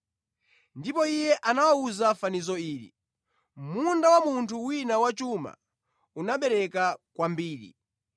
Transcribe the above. Ndipo Iye anawawuza fanizo ili, “Munda wa munthu wina wachuma unabereka kwambiri.